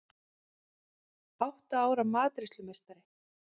Átta ára matreiðslumeistari